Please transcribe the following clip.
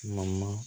Ma